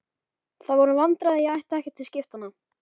Það voru vandræði að ég átti ekkert til skiptanna.